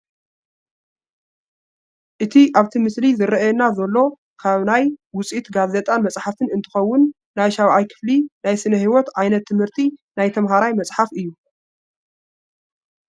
እቲ ኣብቲ ምስሊ ዝራኣየና ዘሎ ካብ ናይ ውፅኢት ጋዜጣን መፅሓፍትን እንትኸውን ናይ 7ይ ክፍሊ ናይ ስነ-ሂወት ዓ/ት ት/ቲ ናይ ተምሃራይ መፅሓፍ እዩ፡፡